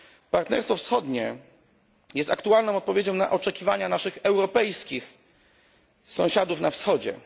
Partnerstwo wschodnie jest aktualną odpowiedzią na oczekiwania naszych europejskich sąsiadów na Wschodzie.